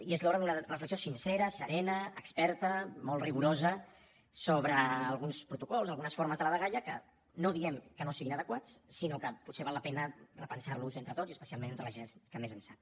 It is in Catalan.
i és l’hora d’una reflexió sincera serena experta molt rigorosa sobre alguns protocols algunes formes de la dgaia que no diem que no siguin adequats sinó que potser val la pena repensar los entre tots i especialment entre la gent que més en sap